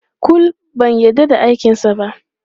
Kul, ban yarda da aikinsa ba.